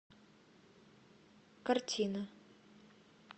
картина